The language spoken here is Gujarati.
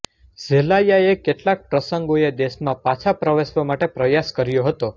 ઝેલાયાએ કેટલાક પ્રસંગોએ દેશમાં પાછા પ્રવેશવા માટે પ્રયાસ કર્યો હતો